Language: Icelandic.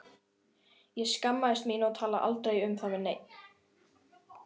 Ég skammaðist mín og talaði aldrei um það við neinn.